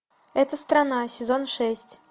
эта страна сезон шесть